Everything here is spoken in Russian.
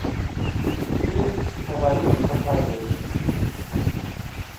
фильм фаворит покажи